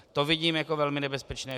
To vidím jako velmi nebezpečné.